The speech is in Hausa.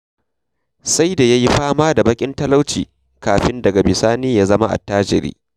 Sai da ya yi fama da baƙin talauci kafin daga bisani ya zama attajiri.